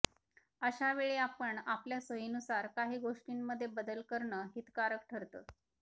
अशा वेळी आपण आपल्या सोयीनुसार काही गोष्टींमध्ये बदल करणं हितकारक ठरतं